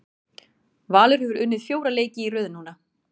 Valur hefur unnið fjóra leiki í röð núna.